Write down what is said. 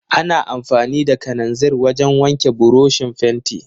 Ana amfani da kananzir wajen wanke burushin fenti.